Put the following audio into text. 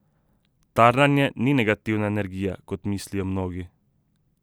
Tarnanje ni negativna energija, kot mislijo mnogi.